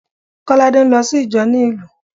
Kolade ń lọ sí ìjọ ni ìlú